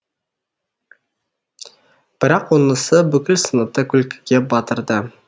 бірақ онысы бүкіл сыныпты күлкіге батырды